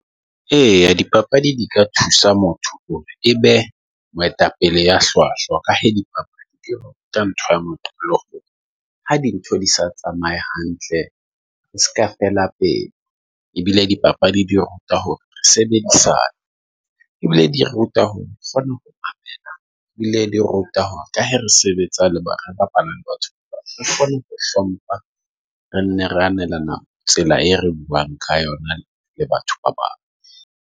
Eya, dipapadi di ka thusa motho hore be moetapele ya hlwahlwa. Ka he di papadi ka ntho ha dintho di sa tsamaye hantle e seka fela pele e bile di papadi. Di ruta hore re sebedisana ebile di ruta hore kgona ho bile di ruta ka ha re sebetsa le batho, re kgone ho hlompha, re nne re annelene Tsela e re buang ka yona le batho ba bang.